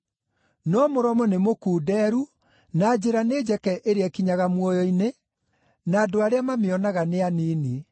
No mũromo nĩ mũkunderu na njĩra nĩ njeke ĩrĩa ĩkinyaga muoyo-inĩ, na andũ arĩa mamĩonaga nĩ anini.